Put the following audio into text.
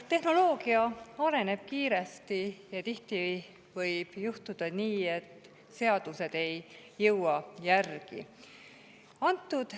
Tehnoloogia areneb kiiresti ja tihti võib juhtuda nii, et seadused ei jõua järele.